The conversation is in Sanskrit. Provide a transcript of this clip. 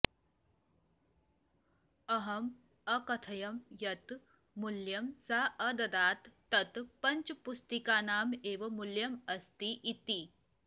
अहम् अकथयम् यत् मूल्यं सा अददात् तत् पञ्चपुस्तिकानाम् एव मूल्यम् अस्ति इति